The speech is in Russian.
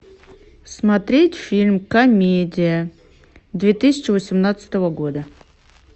смотреть фильм комедия две тысячи восемнадцатого года